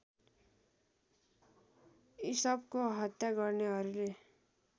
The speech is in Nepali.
इसपको हत्या गर्नेहरूले